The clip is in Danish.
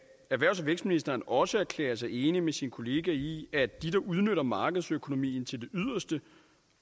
erhvervs og vækstministeren også erklære sig enig med sin kollega i at de der udnytter markedsøkonomien til det yderste